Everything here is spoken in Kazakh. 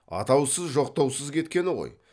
атаусыз жоқтаусыз кеткені ғой